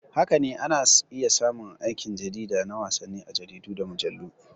Haka ne, ana iya samun aikin jarida na wasanni a jaridu da mujallu.